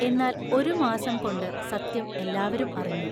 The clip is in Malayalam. എന്നാൽ, ഒരു മാസം കൊണ്ട് സത്യം എല്ലാവരും അറിഞ്ഞു.